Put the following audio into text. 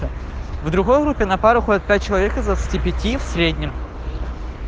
в другой группе на пару ходит пять человек из двадцати пяти в среднем